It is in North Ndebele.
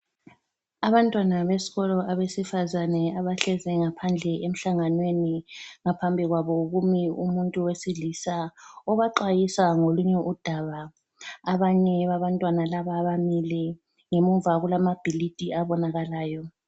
Abantwana besikolo abesifazane abahlezi ngaphandle emhlanganweni ngaphambi kwabo kumi umuntu wesilisa obaxwayisa ngolunye udaba. Abanye babantwana laba bamile ngemuva kulamabhilidi abonakalayo.